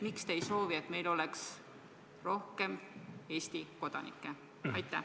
Miks te ei soovi, et meil oleks rohkem Eesti kodanikke?